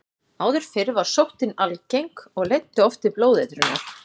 Áður fyrr var sóttin algeng og leiddi oft til blóðeitrunar.